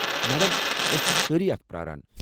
Madam ،أسۍ چھ سٲری اَتھ پرٛاران۔